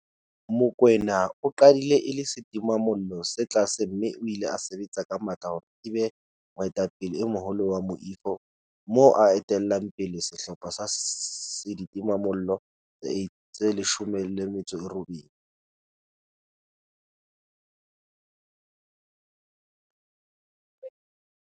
Mokoena o qadile e le setimamollo se tlase mme o ile a sebetsa ka matla hore e be moetapele e moholo wa moifo, moo a etellang pele sehlopha sa ditimamollo tse 18.